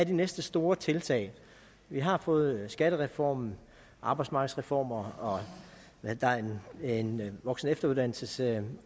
de næste store tiltag vi har fået skattereformen og arbejdsmarkedsreformerne og arbejdet med en voksenefteruddannelsesreform